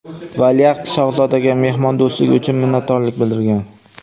valiahd shahzodaga mehmondo‘stligi uchun minnatdorlik bildirgan.